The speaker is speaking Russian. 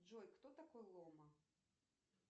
джой кто такой лома